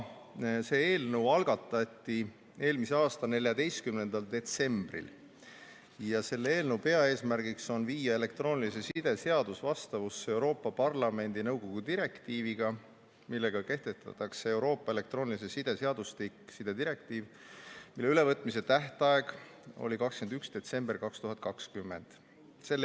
See eelnõu algatati eelmise aasta 14. detsembril ja selle eelnõu peaeesmärgiks on viia elektroonilise side seadus vastavusse Euroopa Parlamendi ja nõukogu direktiiviga, millega kehtestatakse Euroopa elektroonilise side seadustik, sidedirektiiv, mille ülevõtmise tähtaeg oli 21. detsember 2020.